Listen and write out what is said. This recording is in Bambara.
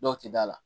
Dɔw tɛ d'a la